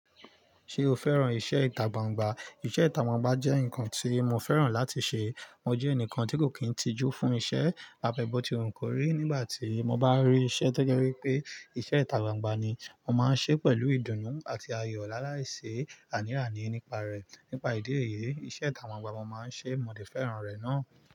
Ṣé o fẹ́ràn iṣẹ́ ìtagbangba? Iṣẹ́ ìtagbangba jẹ́ nǹkan tí mo fẹ́ràn láti ṣe. Mo jẹ́ ẹnìkan tí kò kín tijú fún iṣẹ́. A bẹ́bótì nǹkúrò nígbà tí mo bá rí iṣẹ́ tí ó jẹ́ wípé iṣẹ́ ìtagbangba ni, mo máa ń ṣe é pẹ̀lú ìdùnnú àti ayọ̀ láàláì ṣe ànírànì nípa rẹ̀. Nípa ìdí èyí, iṣẹ́ ìtagbangba mo máa ń ṣe, mo dẹ̀ fẹ́ràn rẹ̀ náà.